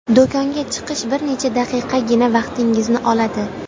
Do‘konga chiqish bir necha daqiqagina vaqtingizni oladi.